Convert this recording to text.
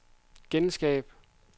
genskab